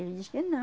Ele diz que